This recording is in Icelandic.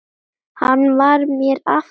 Hann var mér afar góður.